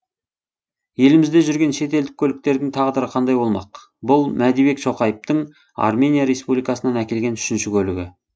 елімізде жүрген шетелдік көліктердің тағдыры қандай болмақ бұл мәдибек шоқаевтың армения республикасынан әкелген үшінші көлігі